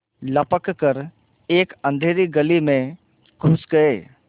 लपक कर एक अँधेरी गली में घुस गये